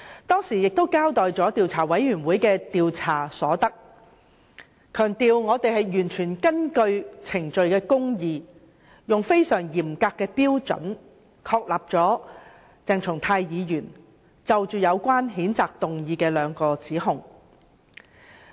當時，我交代了調查委員會的調查結果，強調調查委員會完全遵守程序公義，根據非常嚴格的標準確立了有關譴責議案對鄭松泰議員作出的兩個指控。